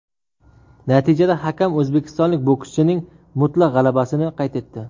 Natijada hakam o‘zbekistonlik bokschining mutlaq g‘alabasini qayd etdi.